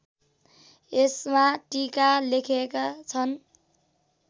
यसमा टीका लेखेका छन्